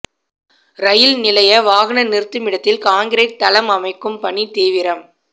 ரயில் நிலைய வாகன நிறுத்துமிடத்தில் கான்கிரீட் தளம் அமைக்கும் பணி தீவிரம்